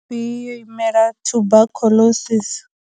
B yo imela tuberculosis.